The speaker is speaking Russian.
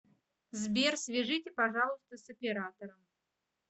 сбер свяжите пожалуйста с оператором